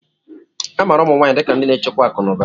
A maara ụmụ nwanyị dị ka ndị na-echekwa akụ na ụba.